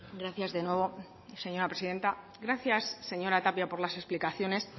gracias de nuevo señora presidenta gracias señora tapia por las explicaciones